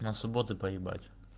на субботу поебать